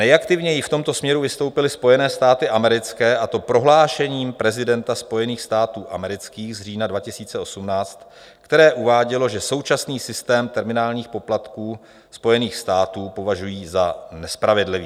Nejaktivněji v tomto směru vystoupily Spojené státy americké, a to prohlášením prezidenta Spojených států amerických z října 2018, které uvádělo, že současný systém terminálních poplatků Spojených států považují za nespravedlivý.